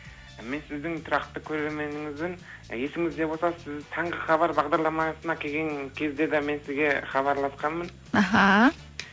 мен сіздің тұрақты көрерменіңізбін і есіңізде болса сіз таңғы хабар бағдарламасына келген кезде де мен сізге хабарласқанмын аха